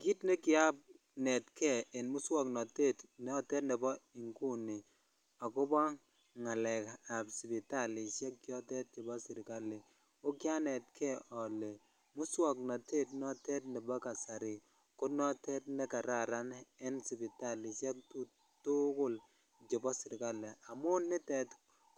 Kiit nekianetke en muswoknotet notet nebo inguni ak kobo ngalekab sipitalishek chotet chebo serikali k o kianetke olee muswoknotet notet nebo kasari konotet nekararan en sipitalishek tukulchebo seerikali, amun nitet